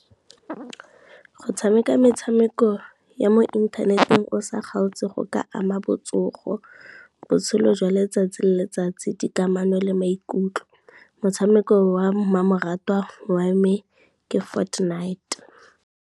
Go tshameka metshameko ya mo inthaneteng o sa kgaotse go ka ama botsogo, botshelo jwa letsatsi le letsatsi, di kamano le maikutlo. Motshameko wa mmamoratwa wa me ke Fortnite.